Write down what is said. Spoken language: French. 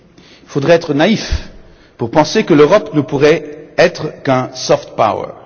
Il faudrait être naïf pour penser que l'Europe ne pourrait être qu'un soft power